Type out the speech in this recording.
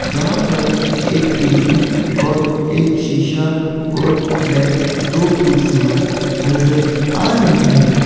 जहां पर एक टी_वी और एक शिशॉ और बेड दो कुर्सियां नजर आ रही है।